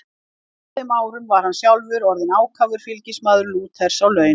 Á þeim árum var hann sjálfur orðinn ákafur fylgismaður Lúters á laun.